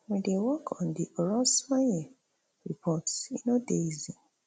we dey work on di orosanye report e no dey easy